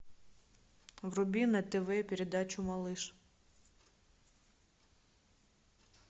вруби на тв передачу малыш